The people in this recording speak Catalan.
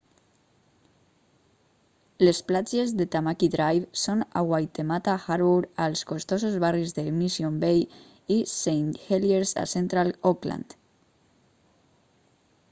les platges de tamaki drive són a waitemata harbour als costosos barris de mission bay i st heliers a central auckland